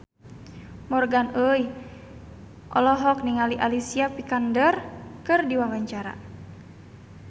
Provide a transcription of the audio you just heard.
Morgan Oey olohok ningali Alicia Vikander keur diwawancara